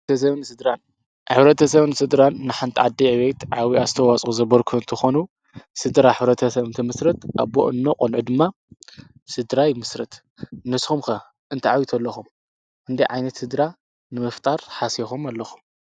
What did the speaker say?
ኣንሥድን ኣኅብረተ ሰበኒ ሥድራን ንሓንቲ ዓዲ ኤቤት ዓዊኣስተዋጾ ዘበርክንትኾኑ ሥድራ ኅረተ ሰምንቲ ምሥርት ኣቦኦ ኖ ቖንዑ ድማ ሥድራ ይ ምስርት ንስኹምከ እንተዕዊት ኣለኹም እንዲ ዓይነት ሥድራ ንምፍጣር ሓሴኹም ኣለኹ?